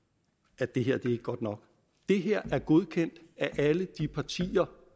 at det her ikke er godt nok det her er godkendt af alle de partier